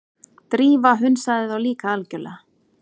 Drífa hunsaði þá líka algjörlega.